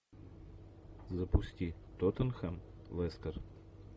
запусти тоттенхэм лестер